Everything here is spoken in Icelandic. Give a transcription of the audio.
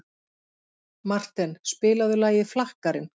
Marten, spilaðu lagið „Flakkarinn“.